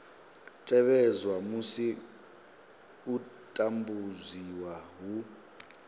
tevhedzwa musi u tambudziwa hu